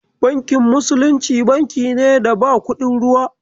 Bankin musulunci, banki ne da ba kuɗin ruwa.